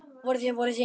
Vor, voruð þið í því?